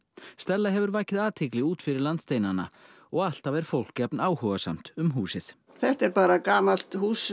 stella hefur vakið athygli út fyrir landsteinana og alltaf er fólk jafn áhugasamt um húsið þetta er bara gamalt hús